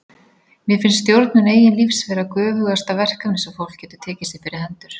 Mér finnst stjórnun eigin lífs vera göfugasta verkefni sem fólk getur tekið sér fyrir hendur.